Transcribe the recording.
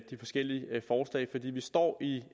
de forskellige forslag fordi vi står i